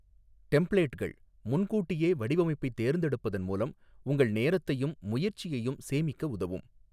டெம்ப்ளேட்கள் முன்கூட்டியே வடிவமைப்பைத் தேர்ந்தெடுப்பதன் மூலம் உங்கள் நேரத்தையும் முயற்சியையும் சேமிக்க உதவும்.